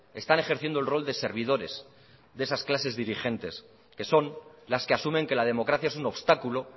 están ejerciendo el rol de servidores de esas clases dirigentes que son las que asumen que la democracia es un obstáculo